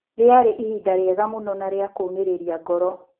"Rĩarĩ ihinda rĩega mũno na rĩa-kũmĩrĩria ngoro.